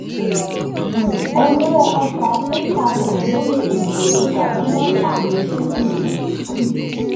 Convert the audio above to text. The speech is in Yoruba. um owó ọjà: [ ten thousand lórí um èròjà tí wọ́n tà ní april um 3.